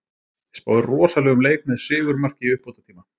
Spái rosalegum leik með sigurmarki í uppbótartíma.